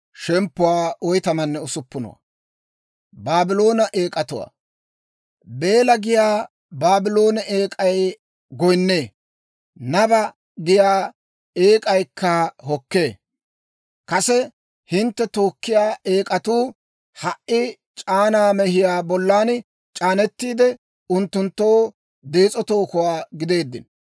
Beela giyaa Baabloone eek'ay goyinnee; Naba giyaa eek'aykka hokkee. Kase hintte tookkiyaa eek'atuu ha"i c'aanaa mehiyaa bollan c'aanetiide, unttunttoo dees'o tookuwaa gideeddino.